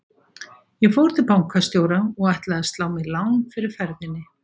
Ég fór til bankastjóra og ætlaði að slá mér lán fyrir ferðinni.